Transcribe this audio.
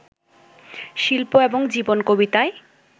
শিল্প এবং জীবন কবিতায়